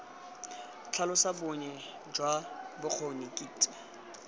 tlhalosa bonnye jwa bokgoni kitso